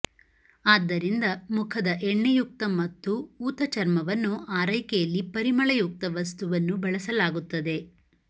ಆದ್ದರಿಂದ ಮುಖದ ಎಣ್ಣೆಯುಕ್ತ ಮತ್ತು ಊತ ಚರ್ಮವನ್ನು ಆರೈಕೆಯಲ್ಲಿ ಪರಿಮಳಯುಕ್ತ ವಸ್ತುವನ್ನು ಬಳಸಲಾಗುತ್ತದೆ